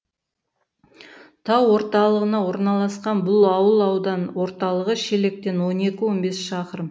тау орталығына орналасқан бұл ауыл аудан орталығы шелектен он екі он бес шақырым